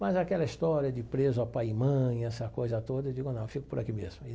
Mas aquela história de preso à pai e mãe, essa coisa toda, eu digo, não, eu fico por aqui mesmo aí.